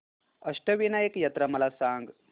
अष्टविनायक यात्रा मला सांग